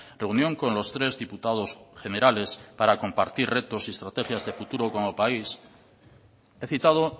reunión con los tres diputados generales para compartir retos y estrategias de futuro como país he citado